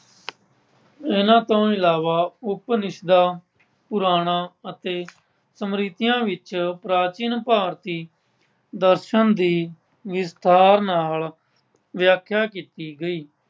ਇਨ੍ਹਾਂ ਤੋਂ ਇਲਾਵਾ ਉਪਨਿਸ਼ਦਾਂ, ਪੁਰਾਣਾਂ ਅਤੇ ਸਮਰਿਧੀਆਂ ਵਿੱਚ ਪ੍ਰਾਚੀਨ ਭਾਰਤੀ ਦਰਸ਼ਨ ਦੀ ਵਿਸਥਾਰ ਨਾਲ ਵਿਆਖਿਆ ਕੀਤੀ ਗਈ।